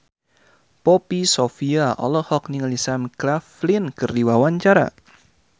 Poppy Sovia olohok ningali Sam Claflin keur diwawancara